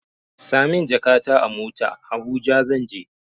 Sa min jakata a mota, Habuja zan je.